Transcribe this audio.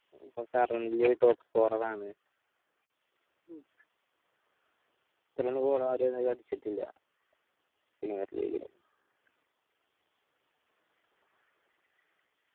ഇപ്പൊ currently top scorer ആണ്. ഇത്ര ഒന്നു goal ആരു അധിക അടിച്ചിട്ടില്ല premium league ല്